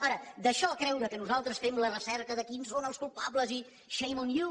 ara d’això a creure que nosaltres fem la recerca de quins són els culpables i shame on you